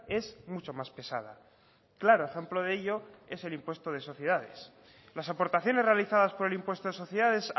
es mucho más pesada claro ejemplo de ello es el impuesto de sociedades las aportaciones realizadas por el impuesto de sociedades